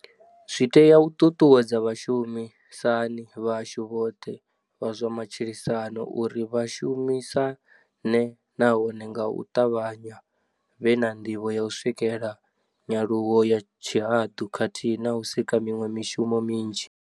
Zwi tea u ṱuṱuwedza vhashumi sani vhashu vhoṱhe vha zwa matshilisano uri vha shumi sane nahone nga u ṱavhanya vhe na ndivho ya u swikela nyaluwo ya tshihaḓu khathihi na u sika miṅwe mishumo minzhi.